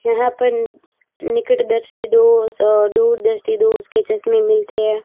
यहां पर निकट दृष्टि दोष और दूर दृष्टि दोष के चश्मे मिलते हैं।